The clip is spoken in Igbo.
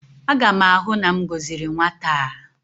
Aga m ahụ na m gọziri nwata a